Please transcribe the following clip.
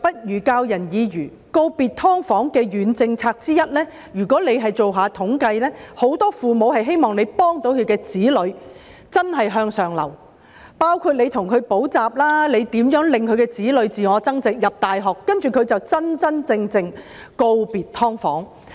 說到告別"劏房"的軟政策之一，如果政府進行統計，便可知道很多父母希望政府協助他們的子女真正向上流，包括為他們提供補習服務、協助他們自我增值以進入大學，讓他們將來可真真正正地告別"劏房"。